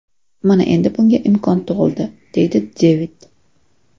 Mana endi bunga imkon tug‘ildi,” deydi Devid.